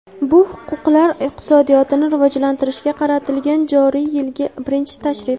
bu – hududlar iqtisodiyotini rivojlantirishga qaratilgan joriy yilgi birinchi tashrif.